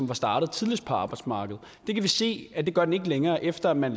var startet tidligst på arbejdsmarkedet det kan vi se at den ikke gør længere efter at man